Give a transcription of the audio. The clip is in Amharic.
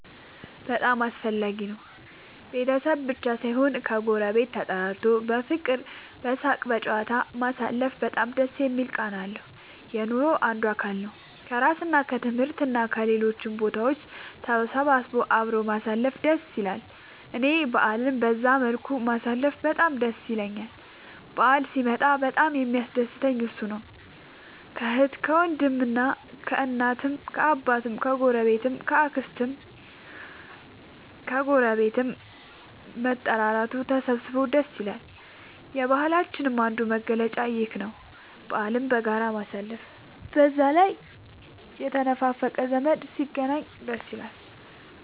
በጣም አስፈላጊ ነው ቤተሰብ ብቻ ሳይሆን ከ ጎረቤት ተጠራርቶ በፍቅር በሳቅ በጨዋታ ማሳለፉ በጣም ደስ የሚል ቃና አለው። የኑሮ አንዱ አካል ነው። ከስራ እና ከትምህርት እና ከሌሎችም ቦታ ተሰብስቦ አብሮ ማሳለፍ ደስ ይላል እኔ በአልን በዛ መልኩ ማሳለፍ በጣም ደስ ይለኛል በአል ሲመጣ በጣም የሚያስደስተኝ እሱ ነው። ከአህት ከወንድም ከእናት ከአባት ከ አጎት ከ አክስት ከግረቤት መጠራራቱ መሰባሰብ ደስ ይላል። የባህላችንም አንዱ መገለጫ ይኽ ነው በአልን በጋራ ማሳለፍ። በዛ ላይ የተነፋፈቀ ዘመድ ሲገናኝ ደስ ይላል